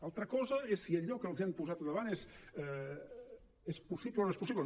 altra cosa és si allò que els han posat davant és possible o no és possible